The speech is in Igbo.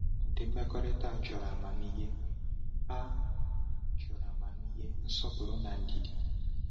Ụdị mmekọrịta a chọrọ amamihe, a chọrọ amamihe, nsọpụrụ, na ndidi.”